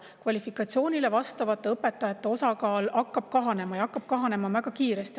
Kvalifikatsiooniga õpetajate osakaal hakkab kahanema väga kiiresti.